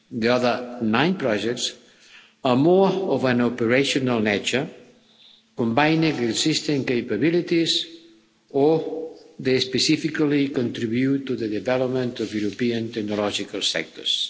The other nine projects are more of an operational nature, combining existing capabilities, or they specifically contribute to the development of European technological sectors.